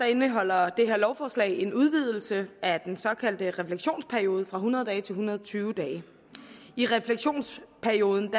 indeholder det her lovforslag en udvidelse af den såkaldte refleksionsperiode fra hundrede dage til en hundrede og tyve dage i refleksionsperioden